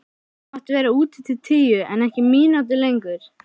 Þú mátt vera úti til tíu en ekki mínútu lengur.